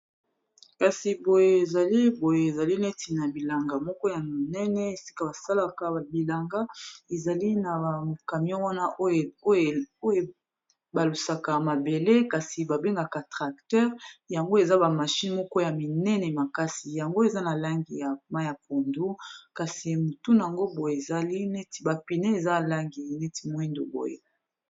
kasi boye ezali boye ezali neti na bilanga moko ya minene esika basalaka bilanga ezali na bakamion wana oyo ebalusaka mabele kasi babengaka tracteur yango eza bamashine moko ya minene makasi yango eza na langi ya ma ya pondo kasi motunango boye ezali neti bapine eza langi neti moindo boye